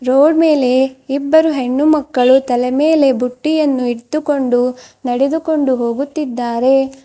Road ಮೇಲೆ ಇಬ್ಬರು ಹೆಣ್ಣು ಮಕ್ಕಳು ತಲೆ ಮೇಲೆ ಬುಟ್ಟಿಯನ್ನು ಇಟ್ಟುಕೊಂಡು ನಡೆದುಕೊಂಡು ಹೋಗುತ್ತಿದ್ದಾರೆ.